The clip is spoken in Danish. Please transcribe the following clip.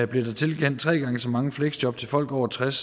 blev der tilkendt tre gange så mange fleksjob til folk over tres